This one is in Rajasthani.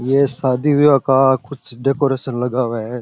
ये सादी विवाह का कुछ डेकोरेसन लगा हुआ है।